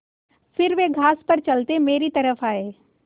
फिर वे घास पर चलते मेरी तरफ़ आये